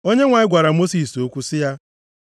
Onyenwe anyị gwara Mosis okwu sị ya,